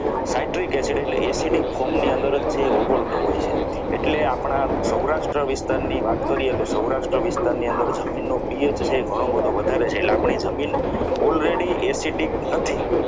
psychiatric acid એટલે acidic acid form ની અંદર જ હોય છે ઓગળતો હોય છે એટલે આપણા સૌરાષ્ટ્ર વિસ્તારની વાત કરીએ તો સૌરાષ્ટ્ર વિસ્તારની અંદર જમીનનો ભેજ છે એ ઘણું બધું વધારે છે એટલે આપણી જમીન already acidic નથી.